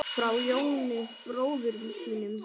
Frá Jóni bróður þínum.